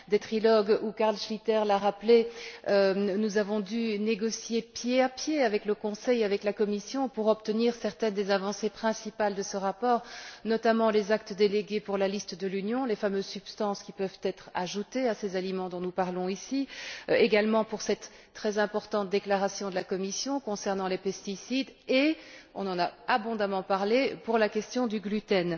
Des trilogues où Carl Schlyter l'a rappelé nous avons dû négocier pied à pied avec le Conseil et la Commission pour obtenir certaines des avancées principales de ce rapport, notamment les actes délégués pour la liste de l'Union, les fameuses substances qui peuvent être ajoutées aux aliments dont nous parlons ici, cette très importante déclaration de la Commission concernant les pesticides et on en a abondamment parlé la question du gluten.